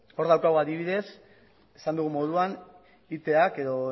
hor daukagu adibidez esan dugun moduan itak edo